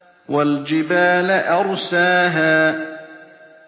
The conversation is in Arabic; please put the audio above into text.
وَالْجِبَالَ أَرْسَاهَا